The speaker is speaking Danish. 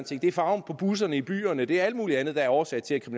ting det er farven på busserne i byerne det er alt muligt andet der er årsag til